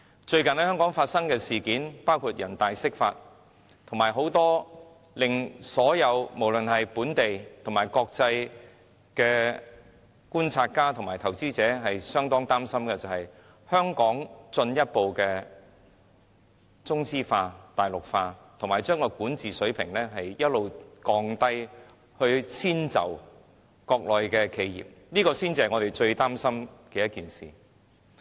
最近在香港發生的事件，包括人大釋法，以及令很多本地和國際觀察家及投資者非常擔心的，包括香港進一步中資化、大陸化，以及將香港的管治水平一直降低，以遷就國內企業，這些才是我們最擔心的事。